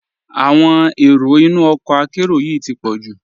Awọn èró ìnú ọkọ àkéró yìí ti pọ̀ ju.